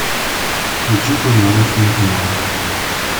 включи познавательный канал